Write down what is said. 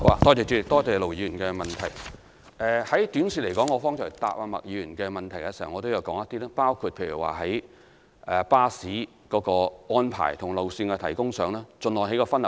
短期而言，正如我剛才回答麥議員的補充質詢時也略為提及，包括就巴士安排和路線提供上，盡量作出分流安排。